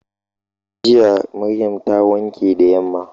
Jiya Maryam ta wanke da yamma.